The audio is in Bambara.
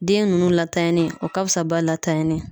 Den nunnu latanyanni o ka fisa ba latanyani ye.